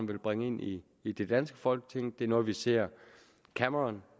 vil bringe ind i i det danske folketing det er noget vi ser cameron